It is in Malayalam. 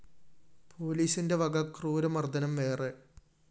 പോലീസിന്റെ വക ക്രൂര മര്‍ദ്ദനം വേറെ